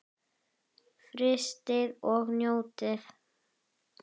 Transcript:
Frystið og njótið.